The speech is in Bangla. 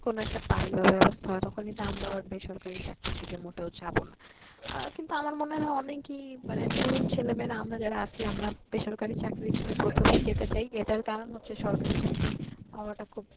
কোনো একটা পায় বা ব্যাবস্থা হয় তখন কিন্তু আমরাও আর বেসরকারি চাকরির দিকে মোটেও যাব না আহ কিন্তু আমার মনে হয় অনেকেই মানে তরুন ছেলেমেয়েরা আমরা যারা আছি আমরা বেসরকারি চাকরির দিকে প্রথমেই যেতে চায় এইটার কারণ হচ্ছে সরকারি চাকরি পাওয়াটা খুব